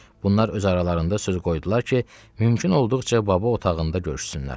Bunlar öz aralarında söz qoydular ki, mümkün olduqca baba otağında görüşsünlər.